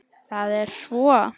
Það er svo.